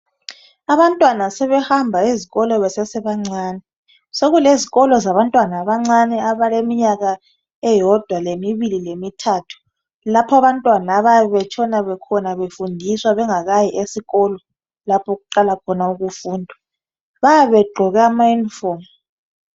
Abantwana sebehamba ezikolo besesebancane, sekulezikolo zabantwana abancane abaleminyaka owodwa lemibili lemithathu, lapha abantwana abayabe betshona khona befundiswa bengakayi esikolo lapho okuqala khona ukufundwa. Bayabe begqoke amayunifomu.